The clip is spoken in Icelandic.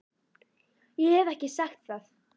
Ég hef ekki sagt það!